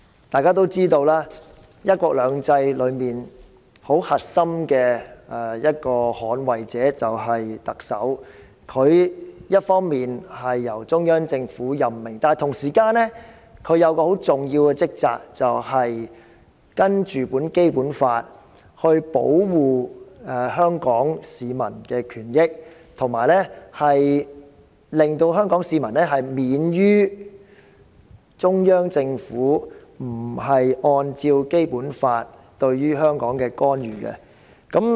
大家知道，"一國兩制"中很核心的捍衞者便是特首，她一方面由中央政府任命，但同時也有很重要的職責，按照《基本法》保護香港市民的權益，以及令香港市民免受中央政府不是按照《基本法》而對香港作出的干預。